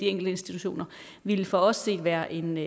institutioner ville for os set være en